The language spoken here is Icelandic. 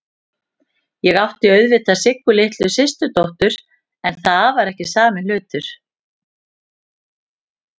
Ég átti auðvitað Siggu litlu systurdóttur, en það er ekki sami hlutur.